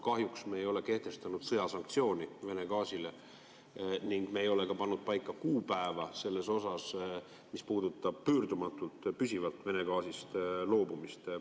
Kahjuks me ei ole kehtestanud sõjasanktsiooni Vene gaasile ning me ei ole pannud paika kuupäeva selles osas, mis puudutab pöördumatult, püsivalt Vene gaasist loobumist.